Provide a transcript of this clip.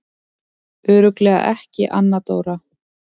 Örugglega ekki Anna Dóra?